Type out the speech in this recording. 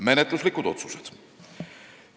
Menetluslikest otsustest.